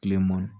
Kile mɔn